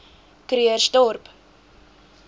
krugersdorp